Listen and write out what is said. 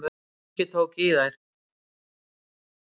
Ingi tók í þær.